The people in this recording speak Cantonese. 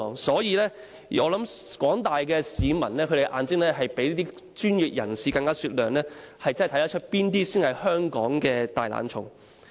所以，我想廣大市民的眼睛比專業人士的更為雪亮，可以看得出誰人才是香港的"大懶蟲"。